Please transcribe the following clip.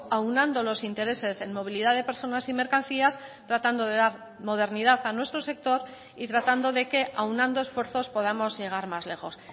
aunando los intereses en movilidad de personas y mercancías tratando de dar modernidad a nuestro sector y tratando de que aunando esfuerzos podamos llegar más lejos